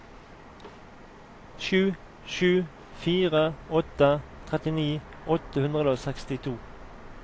sju sju fire åtte trettini åtte hundre og sekstito